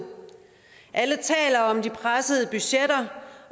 alle taler om de pressede budgetter